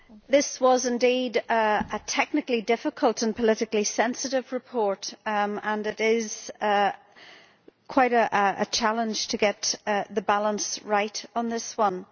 This was indeed a technically difficult and politically sensitive report and it is quite a challenge to get the balance right on this one.